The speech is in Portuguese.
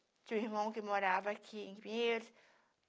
Tinha um irmão que morava aqui em Pinheiros.